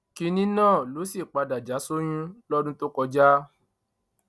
kínní náà ló sì padà já sóyún lọdún tó kọjá